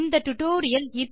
இது பயனுள்ளதாக இருந்திருக்கும்